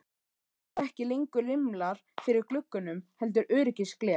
Það eru ekki lengur rimlar fyrir gluggunum heldur öryggisgler.